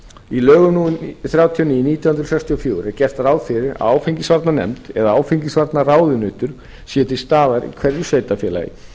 í lögum númer þrjátíu og níu nítján hundruð sextíu og fjögur er gert ráð fyrir að áfengisvarnanefnd eða áfengisvarnaráðunautur sé til staðar í hverju sveitarfélagi sem